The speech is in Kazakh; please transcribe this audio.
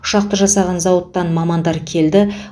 ұшақты жасаған зауыттан мамандар келді